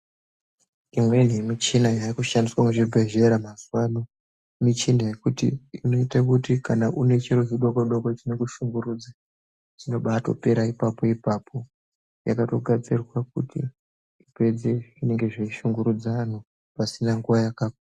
Imweni yemuchina yakushandiswa muzvibhedhlera mazuano muchina yekuti inoite kuti kana une chiro chidoko doko chinokushungurudza chinotopera ipapo ipapo yakatogadzirirwa kuti ipedze zvinenge zveishungurudza anhu pasina nguwa yaka.